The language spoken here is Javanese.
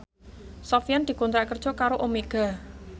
Sofyan dikontrak kerja karo Omega